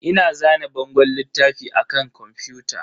Ina zane bangon littafi a kan kwamfuta.